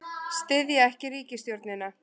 Styðja ekki ríkisstjórnina